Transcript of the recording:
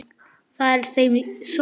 Það er í þeim sorg.